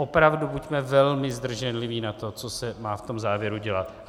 Opravdu buďme velmi zdrženliví na to, co se má v tom závěru dělat.